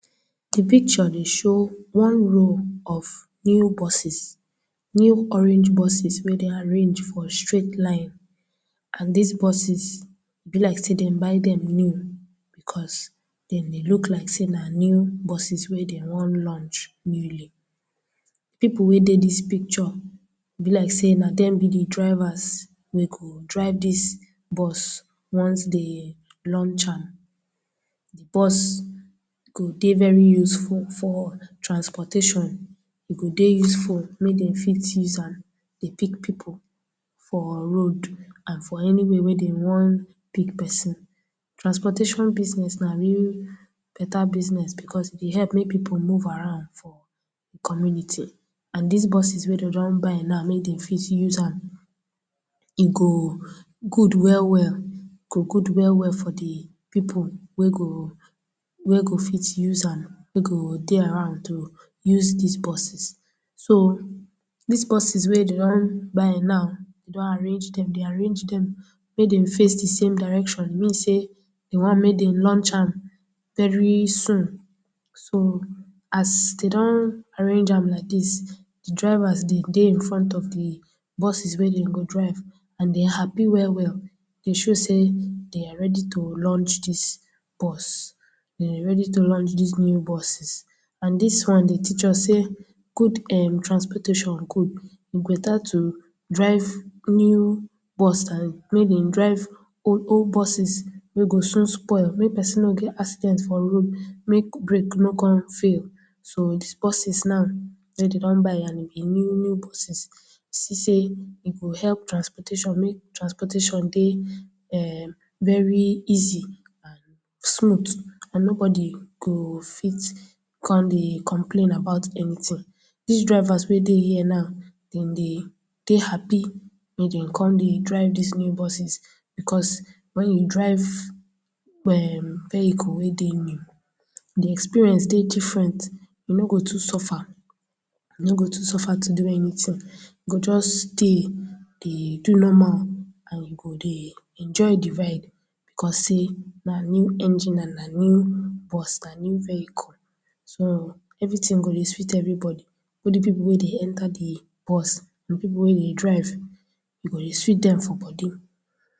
Di picture dey show one row of new buses, new orange buses wey dey arrange for straight line and dis buses e bi like say dem but dem new cos den dey look like say na new buses wey dem won launch newly, people wey dey dis picture, e bi like say na dem bi di drivers wey go drive dis bus once dey launch am, bus go dey very useful for transportation e go dey useful make dem fit use am dey pick people for road and for anywhere wey dem won pick person, transportation business na one better business because e help may people move around for community and dis buses wey dem don buy now na e dey fit use an e go good well well, e go good well well for di people wey go wey go fit use am, wey go dey around to use dis buses so dis buses wey dem don buy now don arrange dem dey arrange dem make dem face the same direction mean say dey want make dem launch am very soon so as dem don arrange an like dis, di drivers dey in front of di buses wey dem go drive and dem happy we'll well e show say dey are ready to launch dis bus, dey are ready to launch dis new buses, and dis one dey teach us say good um transportation good, e better to drive new bus than make dem drive old old buses wey go soon spoil, may person no get accident for road make brake no con fail, so dis buses so wey dem don buy and dem bi new new buses, see say e go help transportation make transportation dey um very easy and smooth and nobody go fit con dey complain about ante, dis drivers wey dey here now, dem dey dey happy wey dem con bi drive dis new buses because when you drive um vehicle wey dey new, di experience dey difference, you no go too suffer, you no too suffer to do anything you go just dey, dey do normal and you go dey enjoy di ride cos say na new engine and na new bus, na new vehicle so everything go dey sweet everybody, both di people wey dey enter di bus and people wey dey drive, e go dey sweet dem for body